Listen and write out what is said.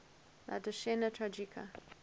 la decena tragica